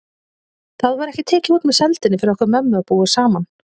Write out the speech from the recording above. Það var ekki tekið út með sældinni fyrir okkur mömmu að búa saman.